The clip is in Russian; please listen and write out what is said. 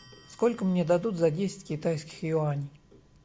сколько мне дадут за десять китайских юаней